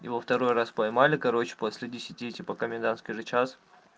и во второй раз поймали короче после десяти же комендантский час